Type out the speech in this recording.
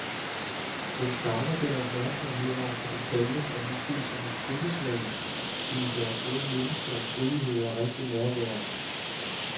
Den savner den opmærksomhed over for detaljen, der måske som et trylleslag kunne gøre både mennesker og stridigheder rigtig nærværende.